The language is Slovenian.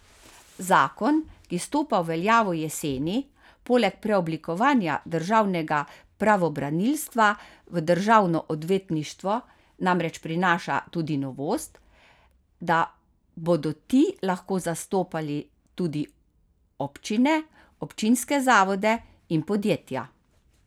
Zakon, ki stopa v veljavo jeseni, poleg preoblikovanja državnega pravobranilstva v državno odvetništvo namreč prinaša tudi novost, da bodo ti lahko zastopali tudi občine, občinske zavode in podjetja.